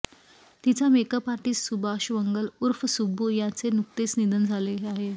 तिचा makeup artist Subhash Vangal उर्फ सुब्बू यांचे नुकतेच निधन झाले आहे